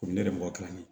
Komi ne yɛrɛ mɔgɔ kilancɛ